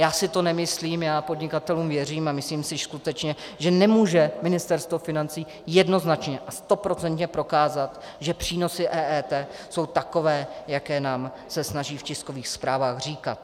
Já si to nemyslím, já podnikatelům věřím a myslím si skutečně, že nemůže Ministerstvo financí jednoznačně a stoprocentně dokázat, že přínosy EET jsou takové, jaké se nám snaží v tiskových zprávách říkat.